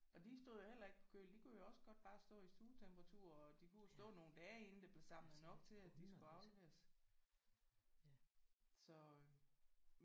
Og de stod jo heller ikke på køl. De kunne jo også godt bare stå i stuetemperatur og de kunne stå nogle dage inden der blev samlet nok til at de skulle afleveres